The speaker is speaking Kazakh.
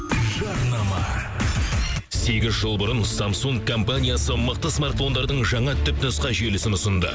жарнама сегіз жыл бұрын самсунг компаниясы мықты смартфондардың жаңа түпнұсқа желісін ұсынды